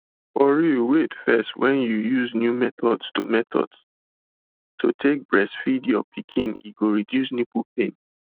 for real wait first when you use new methods to methods to take dey breastfeed your pikin e go reduce nipple pain